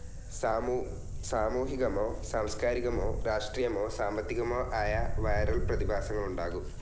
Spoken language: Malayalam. സാമൂഹികമോ സാംസ്കാരികമോ രാഷ്ട്രീയമോ സാമ്പത്തികമോ ആയ വിരൽ പ്രതിഭാസങ്ങളുണ്ടാകും.